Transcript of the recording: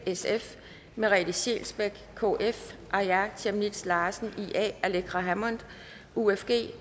merete scheelsbeck aaja chemnitz larsen aleqa hammond